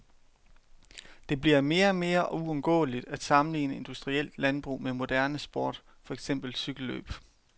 Det bliver mere og mere uundgåeligt at sammenligne industrielt landbrug med moderne sport, for eksempel cykellløb.